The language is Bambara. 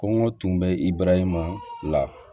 Kɔngɔ tun bɛ i barahima la